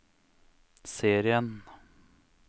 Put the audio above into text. serien